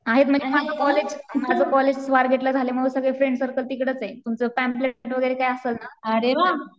आहेत ना माझं कॉलेज स्वारगेटला झाल्यामुळं सगळं कॉलेज तिकडंच आहे. तुमचं पॅम्प्लेट वगैरे काय असेल ना